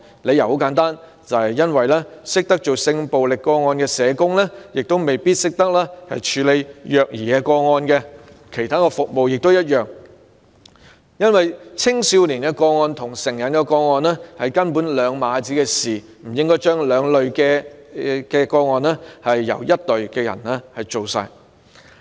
理由很簡單，懂得處理性暴力個案的社工未必懂得處理虐兒個案，其他服務亦然，因為青少年個案跟成人個案完全是兩碼子事，不應把兩類個案交由同一隊人員處理。